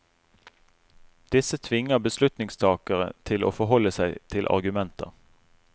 Disse tvinger beslutningstakere til å forholde seg til argumenter.